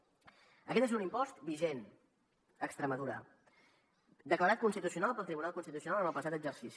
aquest és un impost vigent a extremadura declarat constitucional pel tribunal constitucional en el passat exercici